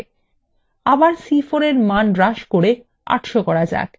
আবার c4 এর মান হ্রাস করে ৮০০ করা যাক